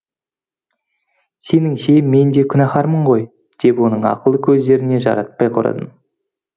сеніңше мен де күнәһармын ғой деп оның ақылды көздеріне жаратпай қарадым